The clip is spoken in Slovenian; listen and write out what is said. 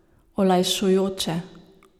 Olajšujoče.